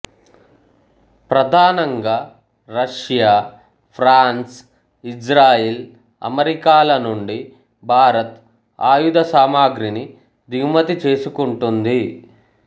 ప్రధానంగా Russia France Israel America లనుండి భారత్ ఆయుధ సామాగ్రిని దిగుమతి చేసుకుంటూంది